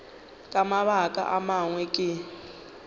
ka mabaka a mangwe ke